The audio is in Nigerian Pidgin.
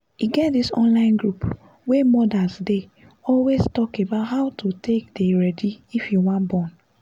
e get this online group wey mothers dey always talk about how to take dey ready if you wan born